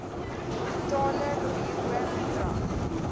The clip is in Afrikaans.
totale bruto bedrag